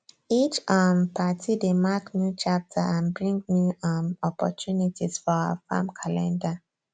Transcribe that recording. each um party dey mark new chapter and bring new um opportunities for our farm calender